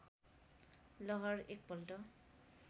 लहर एकपल्ट